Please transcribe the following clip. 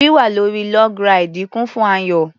Wíwà lórí log ráìdì kún fún ayọ̀.